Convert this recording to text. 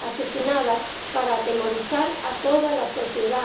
asesinadas para atemorizar a toda la sociedad.